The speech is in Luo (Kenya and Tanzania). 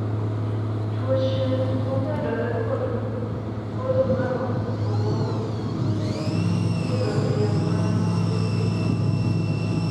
tuoche momedore kod podho mar obo ithiedho eyo ma pile pile